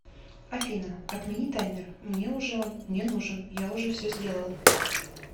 афина отмени таймер мне уже он не нужен я уже все сделал